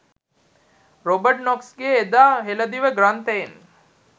Robert නොක්ස්ගේ එදා හෙළදිව ග්‍රන්ථයෙන්